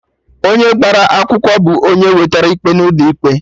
Onye gbara akwụkwọ bụ onye wetera ikpe n'ụlọ ikpe